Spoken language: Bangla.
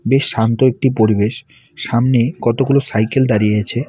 বেশ শান্ত একটি পরিবেশ সামনে কতগুলো সাইকেল দাঁড়িয়ে আছে।